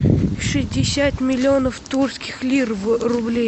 шестьдесят миллионов турецких лир в рубли